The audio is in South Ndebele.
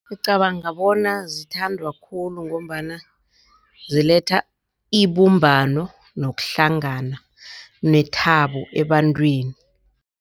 Ngicabanga bona zithandwa khulu ngombana ziletha ibumbano, nokuhlangana, nethabo ebantwini.